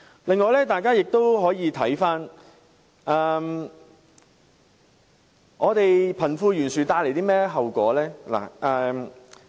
此外，大家也可以看看貧富懸殊會帶來甚麼後果。